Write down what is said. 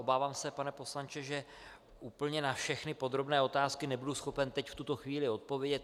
Obávám se, pane poslanče, že úplně na všechny podrobné otázky nebudu schopen teď, v tuto chvíli, odpovědět.